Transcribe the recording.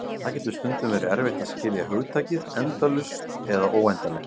Það getur stundum verið erfitt að skilja hugtakið endalaust eða óendanlegt.